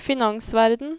finansverden